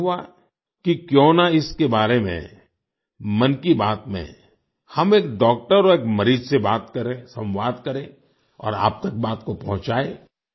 मेरा भी मन हुआ कि क्यों ना इसके बारे में मन की बात में हम एक डॉक्टर और एक मरीज से बात करें संवाद करें और आप तक बात को पहुंचाएं